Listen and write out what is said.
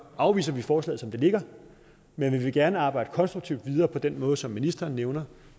afviser vi forslaget som det ligger men vi vil gerne arbejde konstruktivt videre på den måde som ministeren nævner